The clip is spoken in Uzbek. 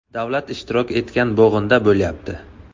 Davlat ishtirok etgan bo‘g‘inda bo‘lyapti.